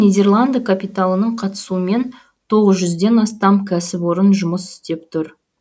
нидерланды капиталының қатысуымен тоғыз жүзден астам кәсіпорын жұмыс істеп тұр